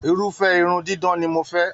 Irufẹ irun didán ni mò fẹ